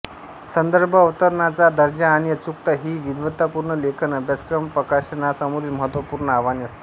संदर्भ अवतरणांचा दर्जा आणि अचूकता हि विद्वतपूर्ण लेखन अभ्यासकप्रकाशनां समोरील महत्वपूर्ण आव्हाने असतात